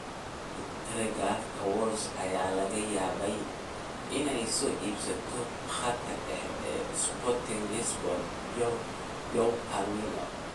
(Telegraph) Wolves ayaa laga yaabaa inay soo iibsato khadka dhexe ee Sporting Lisbon Joao Palhinha, 24.